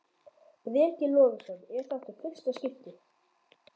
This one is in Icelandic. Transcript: Breki Logason: Er þetta í fyrsta skiptið?